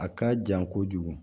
A ka jan kojugu